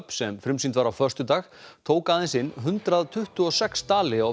sem frumsýnd var á föstudag tók aðeins inn hundrað tuttugu og sex dali á